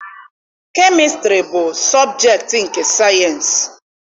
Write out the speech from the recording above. Kemịstrị bụ sọbjektị nke sayịensị.